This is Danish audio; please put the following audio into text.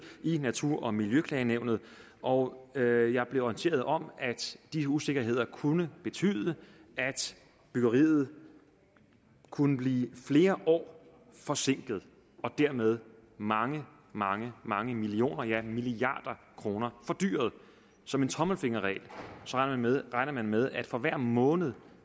i natur og miljøklagenævnet og og jeg blev orienteret om at de usikkerheder kunne betyde at byggeriet kunne blive flere år forsinket og dermed mange mange mange millioner ja milliarder kroner fordyret som en tommelfingerregel regner man med at for hver måned